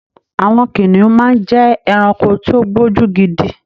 Àwọn kìnnìún máa ń jẹ́ ẹranko tí ó gbójú gidi.